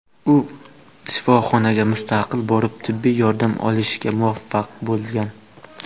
U shifoxonaga mustaqil borib, tibbiy yordam olishga muvaffaq bo‘lgan.